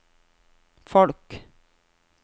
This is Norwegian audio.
folk